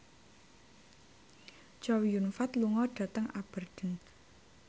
Chow Yun Fat lunga dhateng Aberdeen